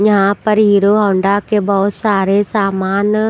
यहाँ पर Hero Honda के बहुत सारे सामान --